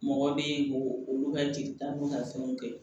Mɔgɔ bɛ ye k'o olu ka jelita n'u ka fɛnw kɛ